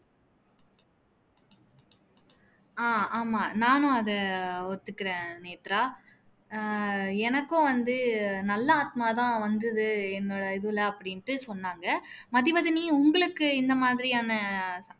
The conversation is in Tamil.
அஹ் ஆமா நானும் அதை ஒத்துக்குறேன் நேத்ரா ஆஹ் எனக்கு வந்து நல்லா ஆத்மா தான் வந்துது என்னோட இதுல அப்படின்னு தான் சொன்னாங்க மதிவதனி உங்களுக்கு இந்த மாதிரியான